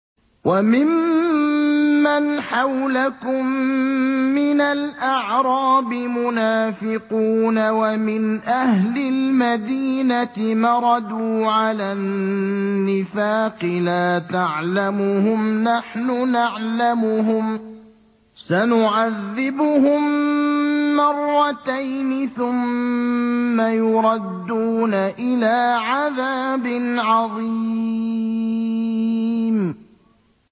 وَمِمَّنْ حَوْلَكُم مِّنَ الْأَعْرَابِ مُنَافِقُونَ ۖ وَمِنْ أَهْلِ الْمَدِينَةِ ۖ مَرَدُوا عَلَى النِّفَاقِ لَا تَعْلَمُهُمْ ۖ نَحْنُ نَعْلَمُهُمْ ۚ سَنُعَذِّبُهُم مَّرَّتَيْنِ ثُمَّ يُرَدُّونَ إِلَىٰ عَذَابٍ عَظِيمٍ